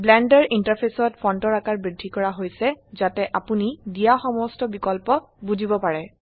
blender ইন্টাৰফেসত ফন্টৰ আকাৰ বৃদ্ধি কৰা হৈছে যাতে আপোনি দিয়া সমস্ত বিকল্প বুজিব পাৰে